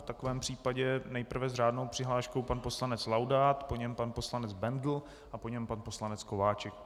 V takovém případě nejprve s řádnou přihláškou pan poslanec Laudát, po něm pan poslanec Bendl a po něm pan poslanec Kováčik.